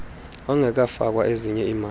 ongekafakwa ezinye iimali